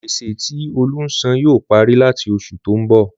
Gbèsè tí Olú ń sàn yóò parí làti oṣù tó ń bọ̀.